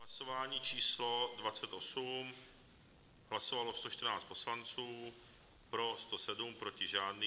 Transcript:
Hlasování číslo 28, hlasovalo 114 poslanců, pro 107, proti žádný.